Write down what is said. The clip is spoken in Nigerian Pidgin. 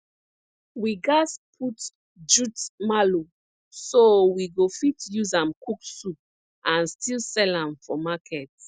we gats put jute mallow so we go fit use am cook soup and still sell am for market